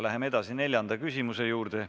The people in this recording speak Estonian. Läheme edasi neljanda küsimuse juurde.